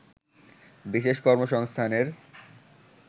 বিশেষ কর্মসংস্থানের